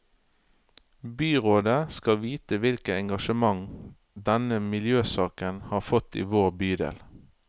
Byrådet skal vite hvilket engasjement denne miljøsaken har fått i vår bydel.